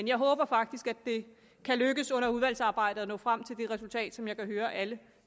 jeg håber faktisk det kan lykkes under udvalgsarbejdet at nå frem til det resultat som jeg kan høre at alle